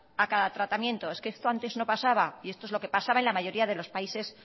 a cada tratamiento es que esto antes no pasaba y esto es lo que pasaba en la mayoría de los países